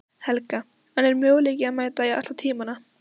Helga: En er möguleiki að mæta í alla tímana?